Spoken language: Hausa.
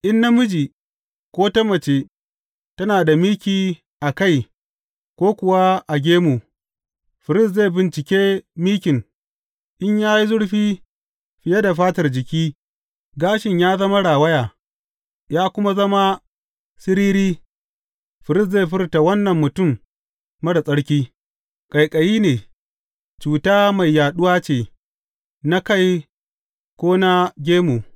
In namiji ko ta mace tana da miki a kai ko kuwa a gemu, firist zai bincike mikin, in ya yi zurfi fiye da fatar jiki, gashin ya zama rawaya, ya kuma zama siriri, firist zai furta wannan mutum marar tsarki; ƙaiƙayi ne, cuta mai yaɗuwa ce na kai ko na gemu.